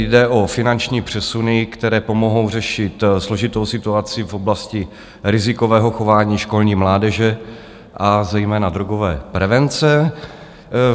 Jde o finanční přesuny, které pomohou řešit složitou situaci v oblasti rizikového chování školní mládeže, a zejména drogové prevence.